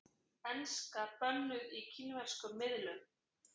Enska bönnuð í kínverskum miðlum